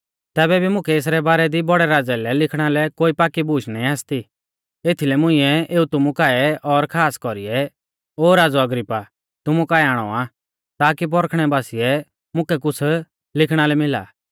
तैबै भी मुकै एसरै बारै दी बौड़ै राज़ै लै लिखणा लै कोई पाकी बूश नाईं आसती एथीलै मुंइऐ एऊ तुमु काऐ और खास कौरीऐ ओ राज़ौ अग्रिप्पा तुमु काऐ आणौ आ ताकी पौरखणै बासिऐ मुकै कुछ़ लिखणा लै मिला